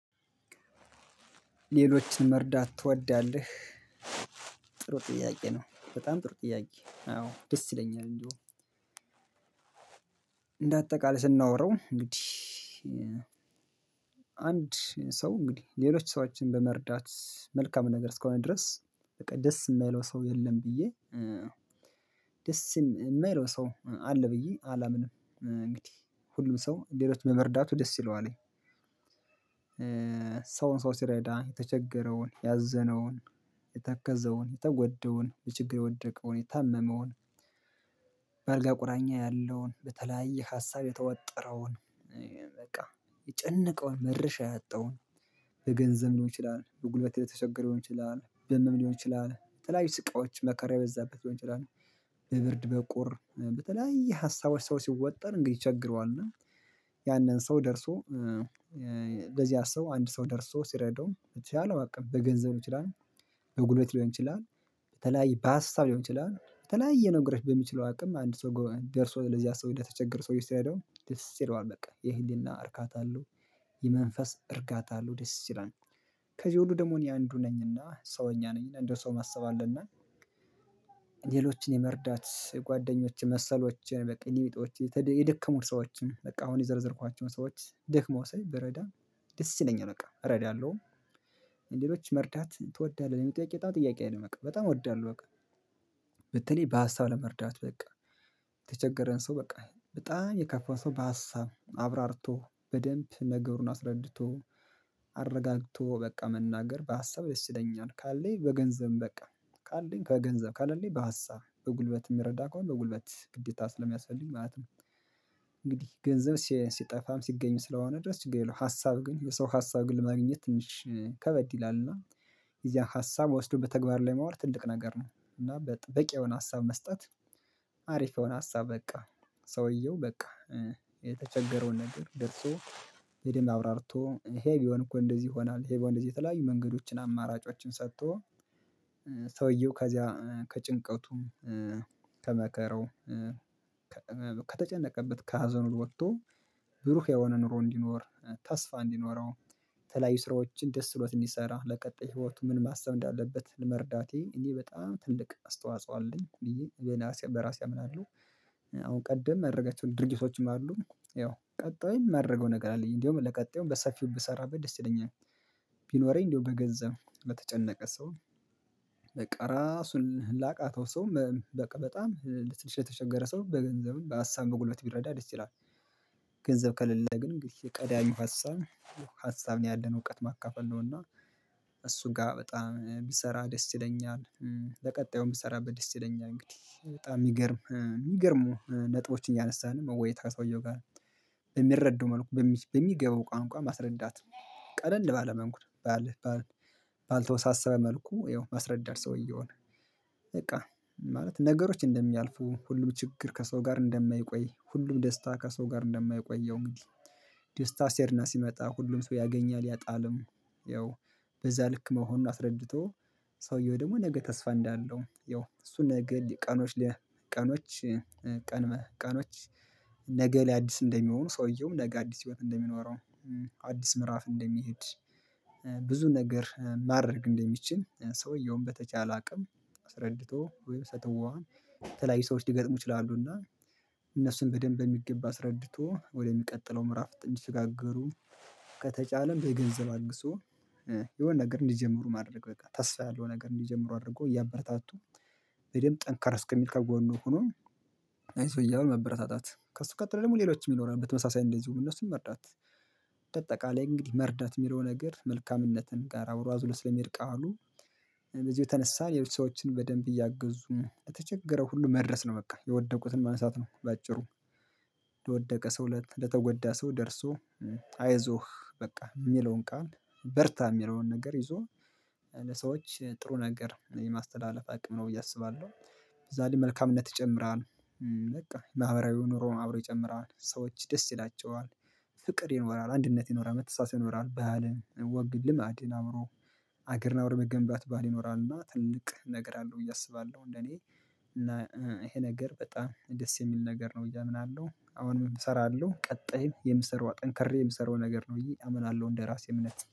ሌሎችን መርዳት ትወዳለህ ጥሩ ጥያቄ ነው በጣም ጥሩ ጥያቄ አዎ ደስ ይለኛል እንጂ እንደ አጠቃላይ ስናወራው እንግዲህ አንድ ሰው እንግዲህ ሌሎች ሰዎችን በመርዳት መልካም ነገር እስከሆነ ድረስ በቃ ደስ የማይለው ሰው የለም ብዬ ደስ የማይለው ሰው አለ ብዬ አላምንም እንግዲህ ሁሉም ሰው ሌሎች በመርዳቱ ደስ ይለዋለኝ ሰውን ሰው ሲረዳ የተቸገረውን ያዘነውን የተከዘውን የተወደውን የችግር የወደቀውን የታመመውን በአልጋ ቁራኛ ያለውን በተለያየ ሀሳብ የተወጠረውን በቃ የጨነቀውን መድርሻ ያጣውን በገንዘብ ሊሆን ይችላል። በጉልበት የተቸገረ ሊሆን ይችላል። በህም ሊሆን ይችላል በተለያዩ ስቃዎች መከራ ያበዛበት ሊሆን ይችላል። በብርድ በቁር በተለያየ ሀሳቦች ሰዎች ሲወጠር እንግዲህ ይቸግረዋ። ያንን ሰው ደርሶ ለዚያ ሰው አንድ ሰው ደርሶ ሲረዳው በቻለው አቅም በገንዘብ ሊሆን ይችላል። በጉልበት ሊሆን ይችላል። በተለያየ በሀሳብ ሊሆን ይችላል በተለያየ ነገሮች በሚችለው አቅም አንድ ሰው ደርሶ ለዚያ ሰው ለተቸገር ሰው ሲረዳው ደስ ይለዋል በቃ። የህሊና እርካት አለው። የመንፈስ እርካታ አለሁ ደስ ይላል። ከዚህ ሁሉ ደግሞ እኔ አንዱ ነኝና ሰውኛ ነኝ እንደ ሰው ማሰብ አለ እና ሌሎችን የመርዳት ጓደኞቼ መሰሎቼን በቃ የኔ ቢጦች የደከሙት ሰዎችን በቃ አሁን የዘረዘርኳቸውን ሰዎች ደክመው ሳይ ብረዳ ደስ ይለኛል በቃ። እረዳለሁም። ሌሎች መርዳት ትወዳለህ? የሚለው ጥያቄ በጣም ጥያቄ ነው በቃ በጣም እወዳለሁ በቃ በተለይ በሀሳብ ለመርዳት። በቃ! የተቸገረን ሰው በቃ በጣም የከፋ ሰው በሀሳብ አብራርቶ፤ በደንብ ነገሩን አስረድቶ፤ አረጋግቶ በቃ መናገር በሀሳብ ደስ ይለኛል። ካለኝ በገንዘብ በቃ ካለኝ ከገንዘብ ካለኝ በሀሳብ በጉልበት የሚረዳ ከሆነ በጉልበት ግዴታ ስለሚያስፈልግ ማለት ነው። እንግዲህ ገንዘብ ሲጠፋም ሲገኙ ስለሆነ ድረስ ችግር የለውም ሀሳብ ግን የሰው ሀሳብ ግን ለማግኘት ትንሽ ከበድ ይላል። እና የዚያን ሀሳብ ወስዶ በተግባር ላይ መዋል ትልቅ ነገር ነው። እና በቂ የሆነ ሀሳብ መስጠት አሪፍ የሆነ ሀሳብ በቃ። ሰውየው በቃ የተቸገረውን ነገር ደርሶ የደም አውራርቶ ይሄ ቢሆን እኮ እንደዚህ ይሆናል። ይሄ በእንደዚህ የተለያዩ መንገዶችን አማራጮችን ሰጥቶ ከዚያ ከጭንቀቱም ከመራው ከተጨነቀበት ከሀዘኑ ወጥቶ ብሩህ የሆነ ኑሮ እንዲኖር ተስፋ እንዲኖረው የተለያዩ ስራዎችን ደስ ብሎት እንዲሰራ ለቀጣይ ህይወቱ ምን ማሰብ እንዳለበት መርዳቴ እኔ በጣም ትልቅ አስተዋጽኦ አለኝ። ብዬ በራሴ አምናለሁ። አሁን ቀደም የማደርገው ድርጊቶችን ማለት ነው ያው ቀጣይ የማደርገው ነገር አለኝ። እንደውም ለቀጣዩም በሰፊው ብሰራ ደስ ይለኛል። ቢኖረኝ እንደው በገንዘብ በተጨነቀ ሰው ራሱን ላቃተው ሰው በቃ በጣም ልትልች የተቸገረ ሰው በገንዘብም በአሳም በጉልበት ቢረዳ ደስ ይላል። ገንዘብ ከሌለ ግን እንግዲህ ቀዳሚው ሀሳብ ሀሳብ ነው ያለን እውቀት ማካፈል ነው እና እሱ ጋር በጣም ብሰራ ደስ ይለኛል። ለቀጣዩ የምሰራበት ደስ ይለኛል። እንግዲህ በጣም የሚገርም የሚገርሙ ነጥቦችን ያነሳን ወይታ ሰውየው ጋር የሚረዱ መልኩ በሚገባው ቋንቋ ማስረዳት ቀለል ባለ መንግስት ባልተወሳሰበ መልኩ ይኸው ማስረዳት ሰውዬ እኮ ነው በቃ ማለት ነገሮች እንደሚያልፉ ሁሉም ችግር ከሰው ጋር እንደማይቆይ ሁሉም ደስታ ከሰው ጋር እንደማይቆየው እንግዲህ ደስታ ሴሄድና ሲመጣ ሁሉም ሰው ያገኛል። ያጣልም ያው በዛ ልክ መሆን አስረድቶ ሰውየው ደግሞ ነገ ተስፋ እንዳለው ያው እሱን ነገ ቀኖች ለ ቀኖች ቀን ማለ ቀኖች ነገ ለአዲስ እንደሚሆኑ ሰውየውም ነገ አዲስ ህይወት እንደሚኖረው አዲስ ምዕራፍ እንደሚሄድ ብዙ ነገር ማድረግ እንደሚችል ሰውየውን በተቻለ አቅም አስረድቶ ወይም ሰጠው ተለያይ ሰዎች ሊገጥሙ ይችላሉ። እና እነሱን በደንብ የሚገባ አስረድቶ ወደሚቀጥለው ምዕራፍ ጥንት እንዲሽጋገሩ ከተጫለም በገንዘብ አግዞ የሆነ ነገር እንዲጀምሩ ማድረግ በቃ ታስፋ ያለው ነገር እንዲጀምሩ አድርጎ እያበረታቱ በደንብ ጠንካራ እስከሚል ከጎኑ ሆኖ ይህ ሰውዬ እያሉ መበረታታት። ከእሱ ቀጥለው ደጎሞ ሌሎችም ይኖራሉ በተመሳሳይ እንደዚሁ እነሱን መርዳት። በጠቃላይ እንግዲህ መርዳት የሚለው ነገር መልካምነትን ጋር አብሮ አዙሎ ስለሚሄድ ቃሉ በእዚህ የተነሳ ሌሎች ሰዎችን በደንብ እያገዙ የተቸገረው ሁሉ መድረስ ነው በቃ። የወደቁትን ማንሳት ነው። በአጭሩ ወደቀ ሰው ለተጎዳ ሰው ደርሶ አይዞህ በቃ የሚለውን ቃል በርታ የሚለውን ነገር ይዞ ሰዎች ጥሩ ነገር የማስተላለፍ አቅም ነው። ብዬ አስባለሁ ዛሬ መልካምነት ይጨምራል። በቃ ማህበራዊ ኑሮን አብሮ ይጨምራል። ሰዎች ደስ ይላቸዋል። ፍቅር ይኖራል፣ አንድነት ይኖራል፣ መተሳሰብ ይኖራል፣ ባህልን፣ ወግን፣ ልማድን፣ አምሮ ሀገርን አምሮ መገንባት ባህል ይኖራል። እና ትልቅ ነገር አለው ብዬ አስባለሁ። እንደኔ እና ይሄ ነገር በጣም ደስ የሚል ነገር ነው። ብዬ አምናለሁ አሁን ምን እሰራለሁ ቀጣይ የምሰራው አጠንክሬ የምሰራው ነገር ነው። ብዬ አምናለሁ እንደራሴ እምነት